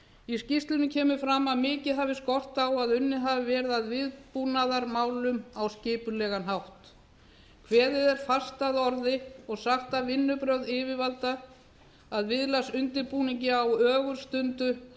í skýrslunni kemur fram að mikið hafi skort á að unnið hafi verið að viðbúnaðarmálum á skipulegan hátt kveðið er fast að orði og sagt að vinnubrögð yfirvalda að viðlagsundirbúningi á ögurstundu